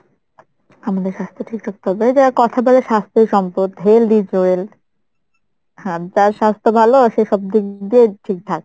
আমাদের স্বাস্থ্য ঠিক রাখতে হবে এই যে কথায় বলে স্বাস্থ্যই সম্পদ, health is wealth যার স্বাস্থ্য ভালো সে সব দিক দিয়েই ঠিকঠাক